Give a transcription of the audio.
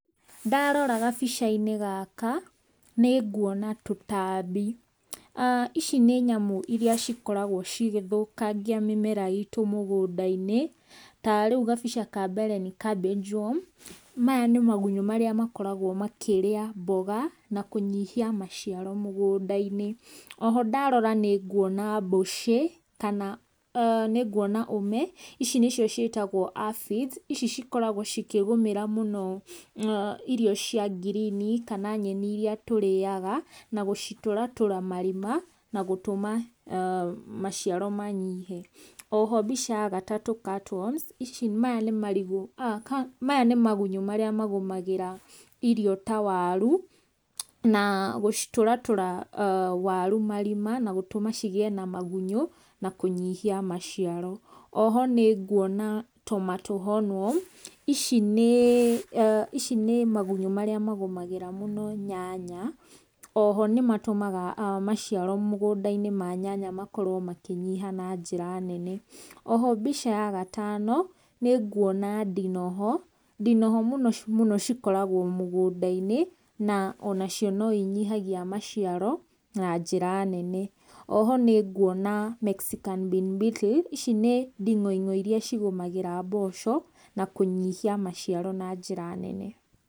Ndarora gabica-inĩ gaka, nĩ nguona tũtambi, ici nĩ nyamũ iria cikoragwo cigĩthũkangia mĩmera itũ mũgũnda-inĩ, ta rĩu gabica kambere nĩ ka Benjum. Maya nĩ magunyũ marĩa makoragwo makĩrĩa mboga na kũnyihia maciaro mũgũnda-inĩ. Oho ndarora nĩ nguona mbũcĩ, kana nĩ nguona ũme, ici nĩ cio ciĩtagwo aphids, ici cikoragwo cikĩgũmĩra mũno irio cia ngirini, kana nyeni iria tũrĩaga, na gũcitũratũra marima, na gũtũma maciaro manyihe. Oho mbica ya gatatũ cutworms maya nĩ marigũ maya nĩ magunyũ marĩa magũmagĩra irio ta waru, na gũcitũratũra waru marima, na gũtũma cigĩe na magunyũ, na kũnyihia maciaro. Oho nĩ nguona tomato hornworm ici nĩ ici nĩ magunyũ marĩa magũmagĩra mũno nyanya, oho nĩ matũmaga maciaro mũgũnda-inĩ ma nyanya makorwo makĩnyiha na njĩra nene, oho mbica ya gatano nĩ nguona ndinoho, ndinoho mũno mũno cikoragwo mũgũnda-inĩ, na ona cio no inyihagia maciaro na njĩra nene. Oho nĩ nguona mexican bin bettle ici nĩ nding'oing'o iria cigũmagĩra mboco, na kũnyihia maciaro na njĩra nene.